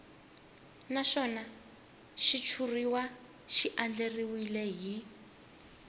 naswona xitshuriwa xi andlariwile hi